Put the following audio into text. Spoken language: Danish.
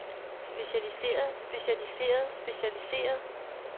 specialiseret specialiseret specialiseret